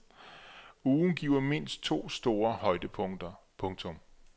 Ugen giver mindst to store højdepunkter. punktum